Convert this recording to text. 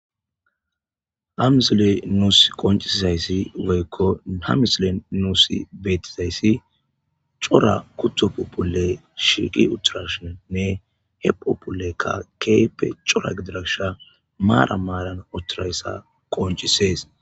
Hamsille nuus qoncisizayssi woykko hamisile nuusi betizayssi cora kutopopule shiiqi uturashinnne he populekka keepe cora gidiragsha maara maaran uhtirayssa qoncisees.